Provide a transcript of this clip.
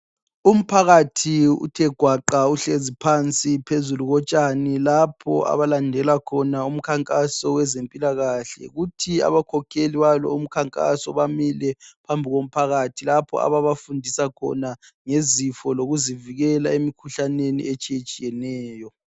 Umphakathi uthe gwaqa phansi uhlezi phezu lotshani kuthi lapho abakhokheli balowo mkhankaso bamile phambi komphakathi lapho ababafundisa khona ngezifo zokuzivikela emkhuhlaneni etshiyatshiyeneyo.